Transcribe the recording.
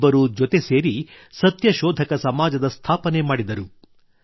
ಇಬ್ಬರೂ ಜತೆ ಸೇರಿ ಸತ್ಯಶೋಧಕ ಸಮಾಜದ ಸ್ಥಾಪನೆ ಮಾಡಿದರು